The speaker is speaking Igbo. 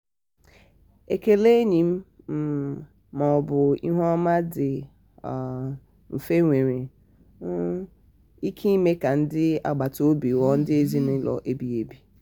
ekele enyi um ma ọ bụ ihu ọma dị um mfe nwere um ike ime ka ndị agbata obi ghọọ ndị ezinụlọ ebighị ebi.